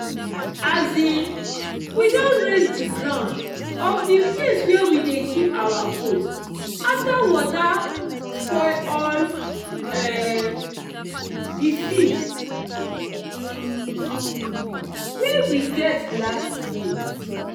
um we don raise the ground of the place where we dey keep our goats after water spoil all um the feed um wey we get last year.